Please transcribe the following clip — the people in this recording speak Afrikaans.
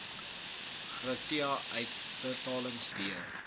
gratia uitbetalings d